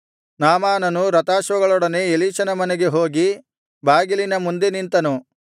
ನಾಮಾನನು ರಥಾಶ್ವಗಳೊಡನೆ ಎಲೀಷನ ಮನೆಗೆ ಹೋಗಿ ಬಾಗಿಲಿನ ಮುಂದೆ ನಿಂತನು